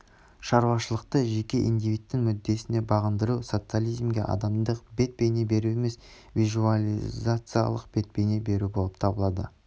шаруашылықты жеке индивидтің мүддесіне бағындыру социализмге адамдық бет-бейне беру емес буржуазиялық бет-бейне беру болып табылады